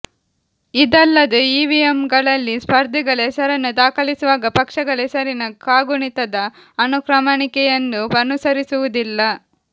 ಇದಲ್ಲದೆ ಇವಿಎಂಗಳಲ್ಲಿ ಸ್ಪರ್ಧಿಗಳ ಹೆಸರನ್ನು ದಾಖಲಿಸುವಾಗ ಪಕ್ಷಗಳ ಹೆಸರಿನ ಕಾಗುಣಿತದ ಅನುಕ್ರಮಣಿಕೆಯನ್ನು ಅನುಸರಿಸುವುದಿಲ್ಲ